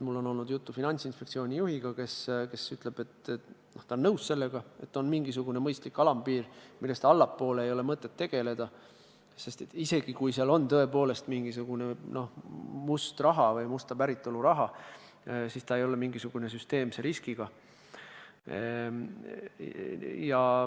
Mul on olnud juttu Finantsinspektsiooni juhiga, kes ütles, et ta on nõus sellega, et on mingisugune mõistlik alampiir, millest allapoole jääva summaga ei ole mõtet tegeleda, sest isegi kui seal tõepoolest on mingisugune must raha, siis ei ole tegemist süsteemse riskiga.